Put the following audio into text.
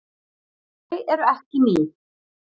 Þau eru ekki ný.